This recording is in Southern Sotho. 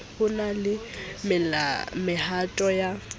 ho na le mehato ya